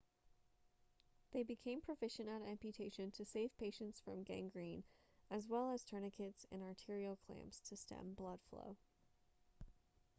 they became proficient at amputation to save patients from gangrene as well as tourniquets and arterial clamps to stem blood flow